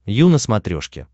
ю на смотрешке